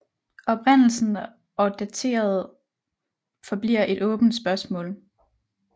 Oprindelsen og dateret forbliver et åbent spørgsmål